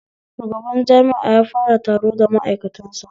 Shugaban jami'a ya fara taro da ma'aikatan sa